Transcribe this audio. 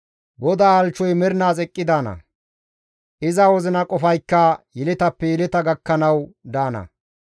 GODAA halchchoy mernaas eqqi daana; iza wozina qofaykka yeletappe yeleta gakkanawu daana.